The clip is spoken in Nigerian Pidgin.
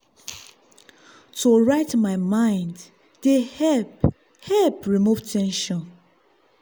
to write my mind dey help help remove ten sion.